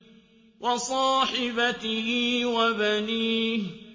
وَصَاحِبَتِهِ وَبَنِيهِ